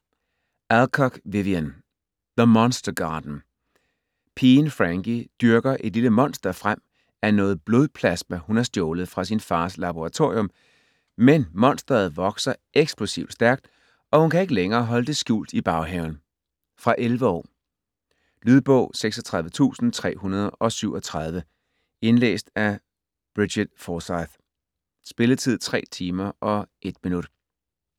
Alcock, Vivien: The monster garden Pigen Frankie dyrker et lille monster frem af noget blodplasma, hun har stjålet fra sin fars laboratorium, men monsteret vokser eksplosivt stærkt, og hun kan ikke længere holde det skjult i baghaven. Fra 11 år. Lydbog 36337 Indlæst af Brigit Forsyth. Spilletid: 3 timer, 1 minutter.